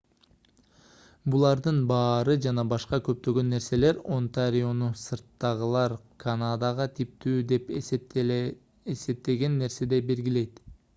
булардын баары жана башка көптөгөн нерселер онтариону сырттагылар канадага типтүү деп эсептеген нерседей белгилейт